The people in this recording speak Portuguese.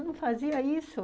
Eu não fazia isso.